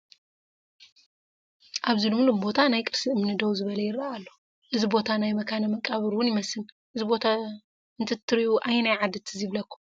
ኣብ ሉምሉም ቦታ ናይ ቅርሲ እምኒ ደው ዝበለ ይረአ ኣሎ፡፡ እዚ ቦታ ናይ መካነ መቃብር ውን ይመስል፡፡ እዚ ቦታ እንትትሪኡ ኣየናይ ዓዲ ትዝ ይብለኩም?